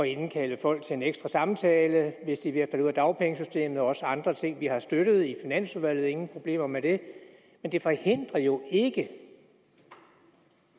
indkalde folk til en ekstra samtale hvis de er ved ud af dagpengesystemet og også andre ting som vi har støttet i finansudvalget ingen problemer med det men det forhindrer jo ikke